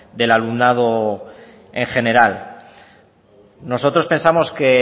del alumnado en general nosotros pensamos que